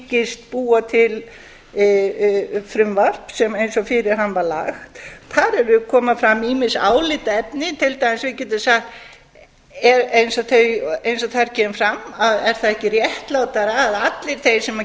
hyggist búa til frumvarp eins og fyrir hann var lagt þar koma fram ýmis álitaefni við getum til dæmis sagt eins og þar kemur fram er það ekki réttlátara að allir þeir sem